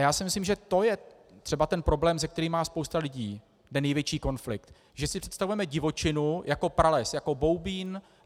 Já si myslím, že to je třeba ten problém, se kterým má spousta lidí ten největší konflikt, že si představujeme divočinu jako prales, jako Boubín.